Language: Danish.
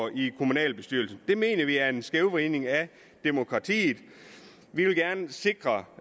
i kommunalbestyrelsen det mener vi er en skævvridning af demokratiet vi vil gerne sikre